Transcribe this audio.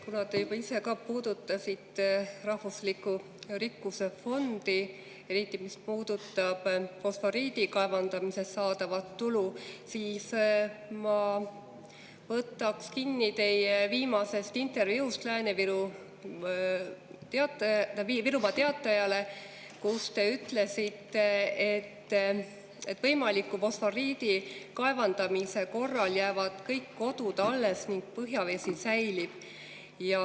Kuna te juba ise ka puudutasite rahvusliku rikkuse fondi, eriti fosforiidi kaevandamisest saadavat tulu, siis ma võtan kinni teie viimasest intervjuust Virumaa Teatajale, kus te ütlesite, et võimaliku fosforiidi kaevandamise korral jäävad kõik kodud alles ning põhjavesi säilib.